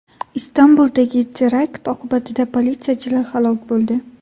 Istanbuldagi terakt oqibatida politsiyachilar halok bo‘ldi.